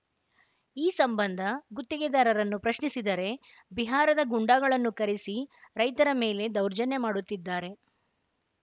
ಈ ಸಂಬಂಧ ಗುತ್ತಿಗೆದಾರರನ್ನು ಪ್ರಶ್ನಿಸಿದರೆ ಬಿಹಾರದ ಗೂಂಡಾಗಳನ್ನು ಕರೆಸಿ ರೈತರ ಮೇಲೆ ದೌರ್ಜನ್ಯ ಮಾಡುತ್ತಿದ್ದಾರೆ